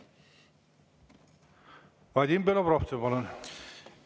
Vadim Belobrovtsev, palun!